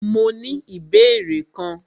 Mó ní ìbéèrè kan.